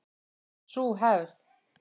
Sú hefð